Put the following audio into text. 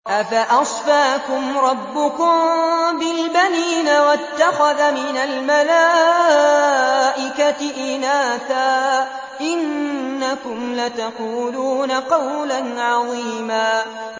أَفَأَصْفَاكُمْ رَبُّكُم بِالْبَنِينَ وَاتَّخَذَ مِنَ الْمَلَائِكَةِ إِنَاثًا ۚ إِنَّكُمْ لَتَقُولُونَ قَوْلًا عَظِيمًا